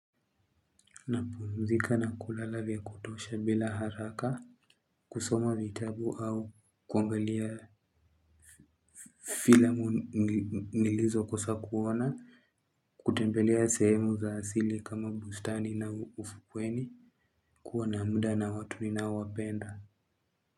Na pumzika na kulala vya kutosha bila haraka kusoma vitabu au kuangalia filamu nilizo kusa kuona kutembelea sehemu za asili kama bustani na ufukweni kuwa na muda na watu ninao wapenda.